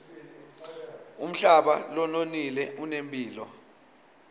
umhlaba lononile unemphilo